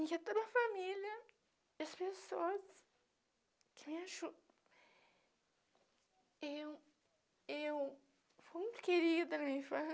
Em que toda a família, as pessoas que me ajudam... Eu eu fui muito querida na minha